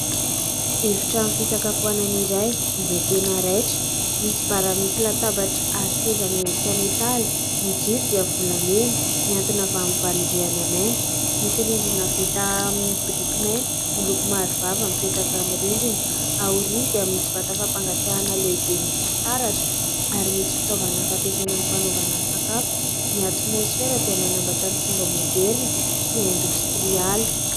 Efitrano fisakafoanana iray izay tena raitra misy bara, misy latabatra ary seza miendrika metaly, ny jiro dia volamena mihantona avy amin'ny valondriana mainty, misy rindrina vita amin'ny biriky mainty miloko maharivava mipetaka amin'ny rindrina, aoriana dia misy vata fampangatsiahana lehibe misy fitaratra ary misy fitaovana fampiasaina amin'ny fanaovana sakafo, ny atimosifera dia manambatra ny fomba maoderina sy indositrialy.